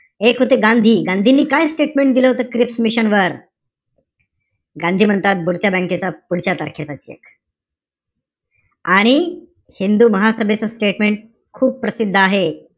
एक होते गांधी. गांधींनी काय statement दिलं होत क्रिप्स मिशन वर? गांधी म्हणतात बुडत्या बँक चा पुढच्या तारखेचा cheque आणि हिंदू महासभेचं statement खूप प्रसिद्ध आहे.